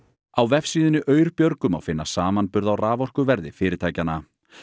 á vefsíðunni Aurbjörgu má finna samanburð á raforkuverði fyrirtækjanna